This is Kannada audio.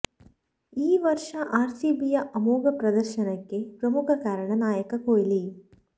ಈ ವರ್ಷ ಆರ್ಸಿಬಿಯ ಅಮೋಘ ಪ್ರದರ್ಶನಕ್ಕೆ ಪ್ರಮುಖ ಕಾರಣ ನಾಯಕ ಕೊಹ್ಲಿ